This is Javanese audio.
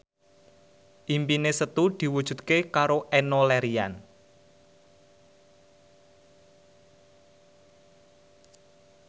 impine Setu diwujudke karo Enno Lerian